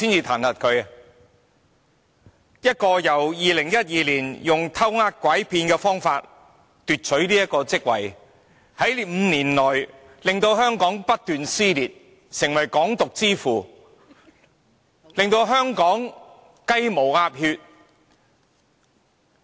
梁振英在2012年以"偷呃拐騙"的方法奪取特首一職 ，5 年來令香港社會不斷撕裂，成為"港獨之父"，令到香港"雞毛鴨血"。